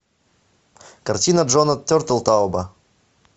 картина джона тертелтауб